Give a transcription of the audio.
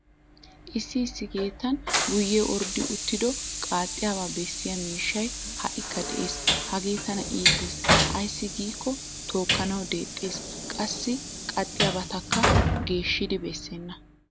Issi issi keettan guyyee orddo uttido qaaxxiyaabaa bessiya mishshay ha'ikka Des. Hagee tana iites ayssi giikko tookkanawu deexxes qassi qaxxiyabatakka geeshshidi bessenna.